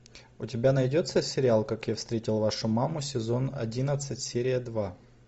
у тебя найдется сериал как я встретил вашу маму сезон одиннадцать серия два